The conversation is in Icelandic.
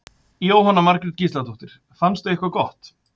Jóhanna Margrét Gísladóttir: Fannstu eitthvað gott?